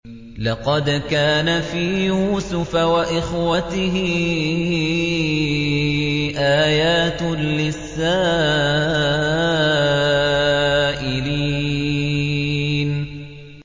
۞ لَّقَدْ كَانَ فِي يُوسُفَ وَإِخْوَتِهِ آيَاتٌ لِّلسَّائِلِينَ